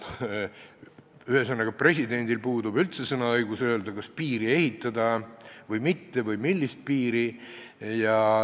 Ühesõnaga, presidendil puudub üldse sõnaõigus öelda, kas piiri ehitada või mitte või millist piiri ehitada.